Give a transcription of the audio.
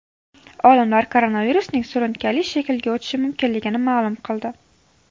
Olimlar koronavirusning surunkali shaklga o‘tishi mumkinligini ma’lum qildi.